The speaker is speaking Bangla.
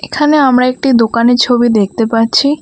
এখানে আমরা একটি দোকানে ছবি দেখতে পাচ্ছি।